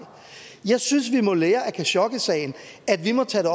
jeg synes vi må lære af khashoggisagen at vi må tage